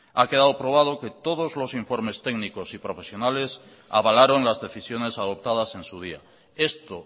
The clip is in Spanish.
ha quedado probado que todos los informes técnicos y profesionales avalaron las decisiones adoptadas en su día esto